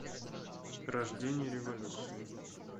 рождение революции